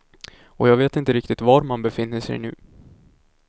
Och jag vet inte riktigt var man befinner sig nu.